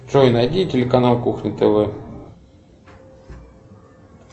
джой найди телеканал кухня тв